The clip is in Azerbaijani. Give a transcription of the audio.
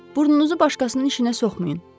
“Burnunuzu başqasının işinə soxmayın”,